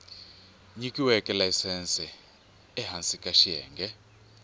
nyikiweke layisense ehansi ka xiyenge